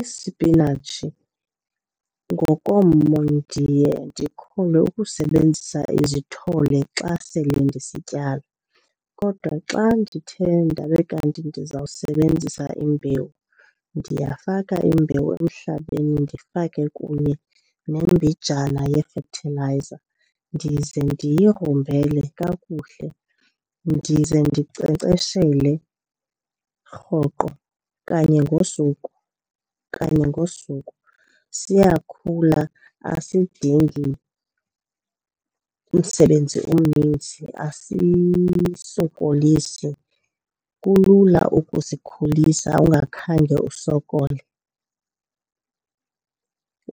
Isipinatshi ngokommo ndiye ndikholwe ukusebenzisa izithole xa sele ndisityala. Kodwa xa ndithe ndabe kanti ndizawusebenzisa imbewu ndiyafaka imbewu emhlabeni ndifake kunye nembijana yefethilayiza, ndize ndiyigrumbele kakuhle, ndize ndinkcenkceshele rhoqo kanye ngosuku, kanye ngosuku. Siyakhula asidingi umsebenzi omninzi, asisokolisi, kulula ukusikhulisa ungakhange usokole.